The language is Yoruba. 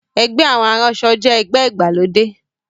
Ẹgbẹ́ àwọn aránṣọ jẹ́ ẹgbẹ́ ìgbàlódé